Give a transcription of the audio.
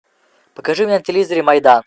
покажи на телевизоре майдан